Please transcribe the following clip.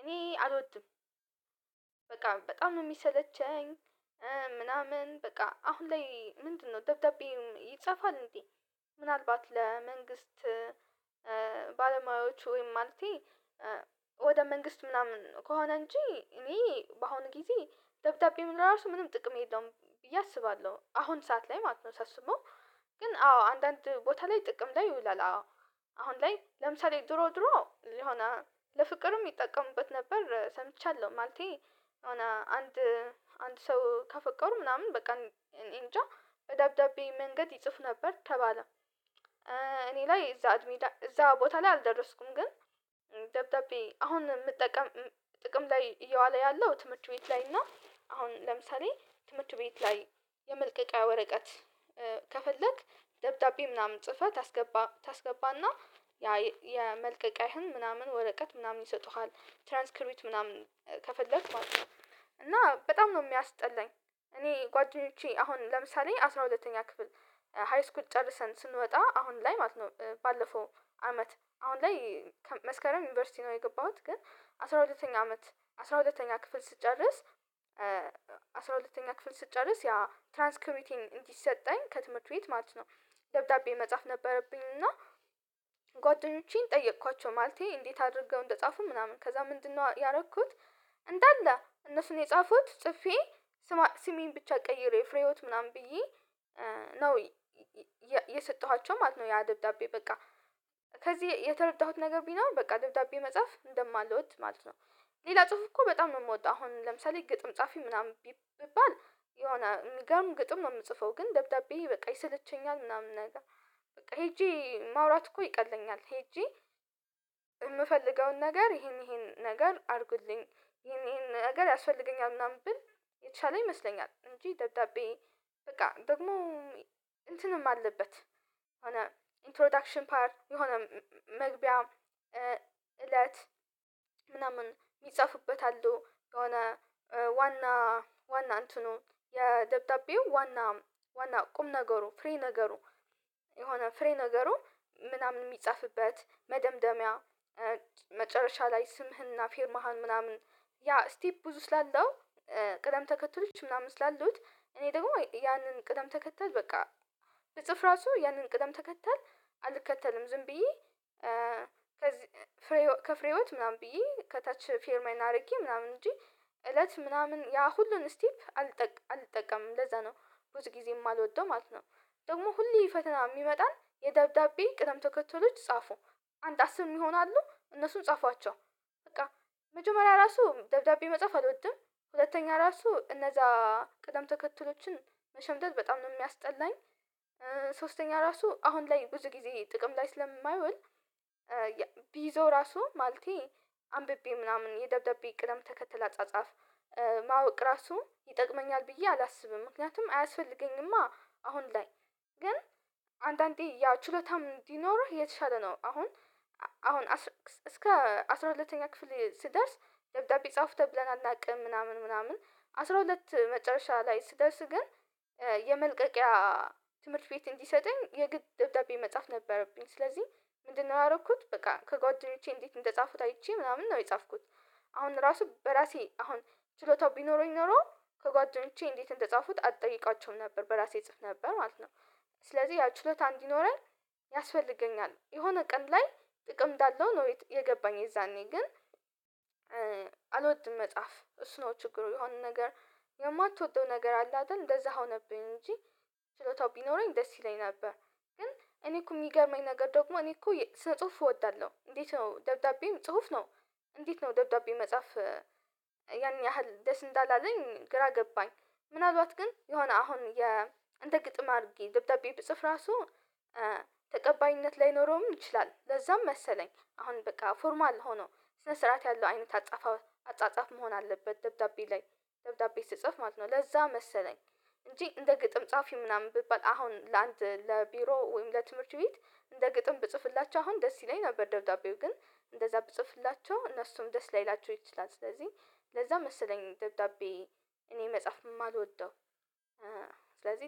እኔ አልወድም። በቃ በጣም ነው የሚሰለቸኝ። ምናምን በቃ አሁን ላይ ምንድነው ደብዳቤው ይጻፋል እንዴ? ምናልባት ለመንግስት ባለሙያዎቹ ወይም ማለቴ ወደ መንግስት ምናምን ከሆነ እንጂ እኔ በአሁኑ ጊዜ ደብዳቤ ምን እራሱ ምንም ጥቅም የለውም ብዬ አስባለሁ አሁን ሰዓት ላይ ማለት ነው ሳስበው። ግን አዎ አንዳንድ ቦታ ላይ ጥቅም ላይ ይውላል አዎ። አሁን ላይ ለምሳሌ ድሮ ድሮ የሆነ ለፍቅርም ይጠቀሙበት ነበር ሰምቻለሁ ማለቴ። የሆነ አንድ አንድ ሰው ከፈቀሩ ምናምን በቃ እኔ እንጃ ደብዳቤ መንገድ ይጽፍ ነበር ተባለ። እኔ ላይ እዛ እዛ ቦታ ላይ አልደረስኩም ግን። ደብዳቤ አሁን የምጠቀም ጥቅም ላይ እየዋለ ያለው ትምህርት ቤት ላይ እና አሁን ለምሳሌ ትምህርት ቤት ላይ የመልቀቂያ ወረቀት ከፈለክ ደብዳቤ ምናምን ጽፈህ ታስገባ ታስገባና ያ የመልቀቂያህን ምናምን ወረቀት ምናምን ይሰጡሃል። ትራንስክሩት ምናምን ከፈለክ ማለት ነው እና በጣም ነው የሚያስጠላኝ። እኔ ጓደኞቼ አሁን ለምሳሌ አስራ ሁለተኛ ክፍል ሃይስኩል ጨርሰን ስንወጣ አሁን ላይ ማለት ነው ባለፈው አመት አሁን ላይ መስከረም ዩኒቨርሲቲ ነው የገባሁት ግን አስራ ሁለተኛ አመት አስራ ሁለተኛ ክፍል ስትጨርስ አስራ ሁለተኛ ክፍል ስትጨርስ ያ ትራንስክሪብቴን እንዲሰጠኝ ከትምህርት ቤት ማለት ነው። ደብዳቤ መጻፍ ነበረብኝ እና ጓደኞቼን ጠየኳቸው ማለቴ እንዴት አድርገው እንደጻፉ ምናምን ከዛ ምንድነው ያደረኩት? እንዳለ እነሱን የጻፉት ጽፌ ስማ ስሜን ብቻ ቀይሬው ፍሬህይውት ምናምን ብዬ ነው የሰጠኋቸው ማለት ነው። ያ ደብዳቤ። በቃ ሌላ ጽሁፍ እኮ በጣም ነው የምወደው። አሁን ለምሳሌ ግጥም ጻፊ ምናምን ቢባል የሆነ ግጥም ነው የምጽፈው። ግን ደብዳቤ በቃ ይሰለቸኛል ምናምን ነገር በቃ ሄጄ ማውራት እኮ ይቀለኛል። ሄጄ የምፈልገውን ነገር ይሄን ይሄን ነገር አድርጉልኝ ይሄን ነገር ያስፈልገኛል ምናምን ብል የተሻለ ይመስለኛል። እንጂ ደብዳቤ በቃ ደግሞ እንትንም አለበት የሆነ እንትሮዳክሽን ፓርት የሆነ መግቢያ እለት ምናምን የሚጻፍበት የሆነ ዋና ዋና እንትኑ የደብዳቤው ዋና ዋና ቁም ነገሩ ፍሬ ነገሩ። የሆነ ፍሬ ነገሩ ምናምን የሚጻፍበት መደምደሚያ። መጨረሻ ላይ ስምህና ፊርማህን ምናምን ያ ስቴብ ብዙ ስላለው ቅደም ተከትሎች ምናምን ስላሉት እኔ ደግሞ ያንን ቅደም ተከተል በቃ ስጽፍ እራሱ ያንን ቅደም ተከተል አልከተልም። ዝም ብዬ ከፍሬህይወት ምናምን ብዬ ከታች ፊርማዬን አድርጌ ምናምን እንጂ እለት ምናምን ያ ሁሉን ስቴፕ አልጠቀምም ለዛ ነው ብዙ ጊዜ የማልወደው ማለት ነው። ደግሞ ሁሌ ፈተና የሚመጣን የደብዳቤ ቅደም ተከተሎች ጻፉ አንድ አስር ምሆናሉ እነሱን ጻፏቸው። በቃ መጀመሪያ እራሱ ደብዳቤ መጻፍ አልወደጠድም ሁለተኛ እራሱ እነዛ ቅደም ተከትሎችን መሸምደድ በጣም ነው የሚያስጠላኝ። ሶስተኛ እራሱ አሁን ላይ ብዙ ጊዜ ጥቅም ላይ ስለማይዉል። ብይዘው እራሱ ማለቴ አንብቤ ምናምን የደብዳቤ ቅደም ተከተል አጻጻፍ ማወቅ እራሱ ይጠቅመኛል ብዬ አላስብም። ምክንያቱም አያስፈልገኝማ አሁን ላይ ግን አንዳንዴ ያ ችሎታም እንዲኖርህ የተሻለ ነው። አሁን አሁን እስከ አስራ ሁለተኛ ክፍል ስደርስ ደብዳቤ ጻፉ ተብለን አናውቅም ምናምን ምናምን አስራ ሁለት መጨረሻ ላይ ስደርስ ግን። የመልቀቂያ ትምህርት ቤት እንዲሰጠኝ የግድ ደብዳቤ መጻፍ ነበረብኝ ስለዚህ ምንድነው ያደረኩት በቃ ከጓደኞቼ እንዴት እንደጻፉት አይቼ ምናምን ነው የጻፍኩት። አሁን እራሱ በራሴ አሁን ችሎታው ቢኖረኝ ኖሮ ከጓደኞቼ እንዴት እንደጻፉት አልጠይቃቸውም ነበር በራሴ እጽፍ ነበር ማለት ነው። ስለዚህ ያ ችሎታ እንዲኖረኝ ያስፈልገኛል የሆነ ቀን ላይ ጥቅም እንዳለው ነው የገባኝ። የዛኔ ግን። አልወድም መጽሐፍ እሱ ነው ችግሩ። የሆነ ነገር የማትወደው ነገር አለ አይደል? እንደዛ ሆነብኝ እንጂ ችሎታው ቢኖረኝ ደስ ይለኝ ነበር። ግን እኔ እኮ የሚገርመኝ ነገር ደግሞ እኔ እኮ ስነ ጽሁፍ እወዳለሁ እንዴት ነው ደብዳቤም ጽሁፍ ነው? እንዴት ነው ደብዳቤ መጻፍ? ያን ያህል ደስ እንዳላለኝ ግራ ገባኝ። ምንአልባት ግን የሆነ አሁን የእንደ ግጥም አድርጌ ደብዳቤ ብጽፍ እራሱ ተቀባይነት ላይኖረውም ይችላል። ለዛም መሰለኝ አሁን በቃ ፎርማል ሆኖ ስነ ስርዓት ያለው አይነት አጻጻፍ መሆን አለበት። ደብዳቤ ላይ ደብዳቤ ስጽፍ ማለት ነው ለዛ መሰለኝ። እንጂ እንደ ግጥም ጻፊ ምናምን ብባል አሁን ለአንድ ለቢሮ ወይም ለትምህርት ቤት እንደ ግጥም ብጽፍላቸው አሁን ደስ ይለኛል ነበር ደብዳቤው ግን እንደዛ ብጽፍላቸው እነሱም ደስ ላይላቸው ይችላል። ስለዚህ ለዛ መሰለኝ ደብዳቤ እኔ መጽሐፍ የማልወደው። ስለዚህ